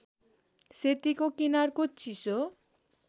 सेतीको किनारको चिसो